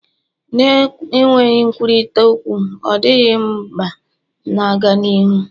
na-enweghị nkwurịta okwu ọ dịghị mba na-aga n'ihu